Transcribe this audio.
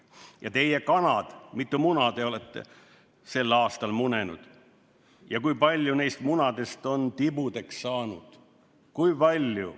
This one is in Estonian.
Ja teie, kanad, mitu muna te olete sel aastal munenud ja kui palju neist munadest on tibudeks hautud?